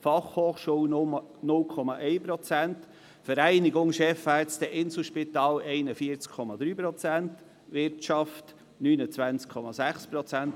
Fachhochschule (BFH) 0,1 Prozent, die Vereinigung Chefärzte des Inselspitals (VCCI) 41,3 Prozent, die Wirtschaft 29,6 Prozent.